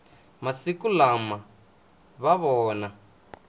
masiku lawa va vona